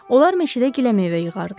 Onlar meşədə giləmeyvə yığardılar.